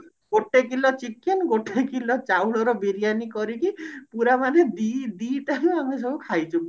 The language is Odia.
ଗୋଟେ କିଲୋ chicken ଗୋଟେ କିଲୋ ଚାଉଳ ର ବିରିୟାନୀ କରିକି ପୁରା ମାନେ ଦି ଆମେ ସବୁ ଖାଇଥିଲୁ